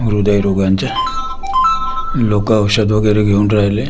हृदयरोगांच्या लोकं औषधं वगेरे घेऊन राहिले.